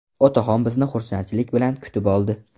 Otaxon bizni xursandchilik bilan kutib oldi.